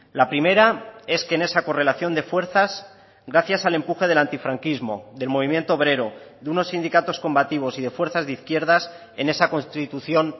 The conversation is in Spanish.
la primera es que en esa correlación de fuerzas gracias al empuje del antifranquismo del movimiento obrero de unos sindicatos combativos y de fuerzas de izquierdas en esa constitución